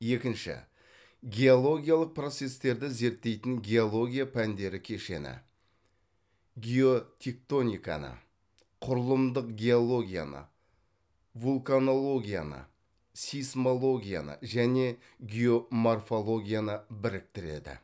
екінші геологиялық процестерді зерттейтін геология пәндер кешені геотектониканы құрылымдық геологияны вулканологияны сейсмологияны және геоморфологияны біріктіреді